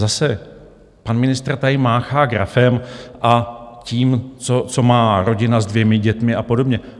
Zase pan ministr tady máchá grafem a tím, co má rodina s dvěma dětmi a podobně.